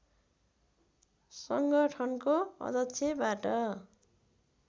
सङ्गठनको अध्यक्षबाट